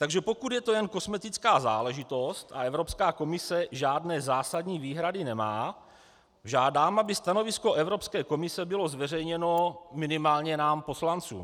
Takže pokud je to jen kosmetická záležitost a Evropská komise žádné zásadní výhrady nemá, žádám, aby stanovisko Evropské komise bylo zveřejněno minimálně nám, poslancům.